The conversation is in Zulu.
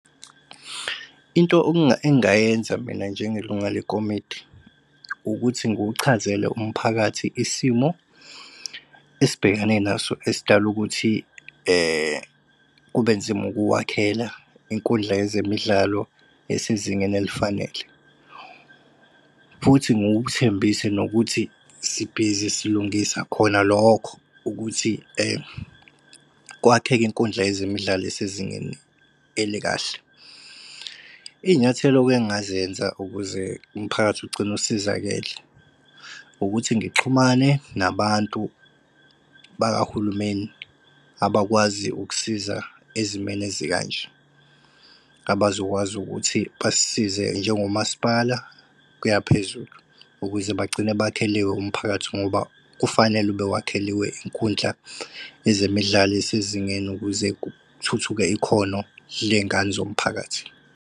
Into engingayenza mina njengelunga lekomiti, ukuthi ngiwuchazele umphakathi isimo esibhekane naso esidale ukuthi kube nzima ukuwakhela inkundla yezemidlalo elisezingeni elifanele. Futhi ngiwuthembise nokuthi sibhizi silungisa khona lokho ukuthi kwakheke inkundla yezemidlalo elisezingeni elikahle. Iy'nyathelo engingazenza ukuze umphakathi ugcine usizakele ukuthi ngixhumane nabantu bakahulumeni abakwazi ukusiza ezimeni ezikanje abazokwazi ukuthi basisize njengomasipala kuya phezulu. Ukuze bagcina bakhele umphakathi ngoba kufanele ube wakheliwe inkundla ezemidlalo elisezingeni ukuze kuthuthuke ikhono lengane zomphakathi.